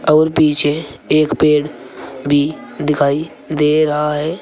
और पीछे एक पेड़ भी दिखाई दे रहा है।